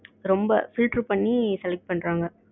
ரொம்ப fillter பண்ணி select பண்றாங்க